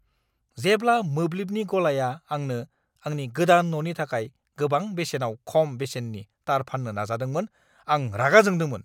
जेब्ला मोब्लिबनि गलाया आंनो आंनि गोदान न'नि थाखाय गोबां बेसेनाव खम बेसेननि तार फान्नो नाजादोंमोन, आं रागा जोंदोंमोन।